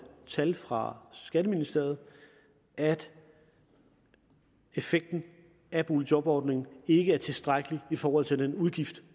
tal fra skatteministeriet at effekten af boligjobordningen ikke er tilstrækkelig i forhold til den udgift